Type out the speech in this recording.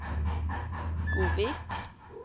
Godvik